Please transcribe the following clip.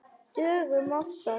Dögum oftar.